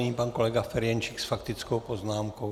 Nyní pan kolega Ferjenčík s faktickou poznámkou.